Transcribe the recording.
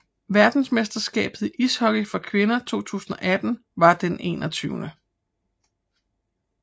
Verdensmesterskabet i ishockey for kvinder 2018 var det 21